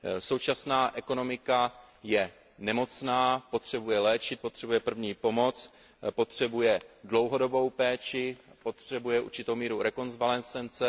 Současná ekonomika je nemocná, potřebuje léčit, potřebuje první pomoc, potřebuje dlouhodobou péči, potřebuje určitou míru rekonvalescence.